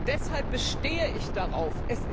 Deshalb bestehe ich darauf.